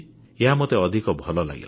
ଏହା ମୋତେ ଅଧିକ ଭଲ ଲାଗିଲା